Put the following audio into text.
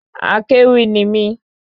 Akéwì ni mí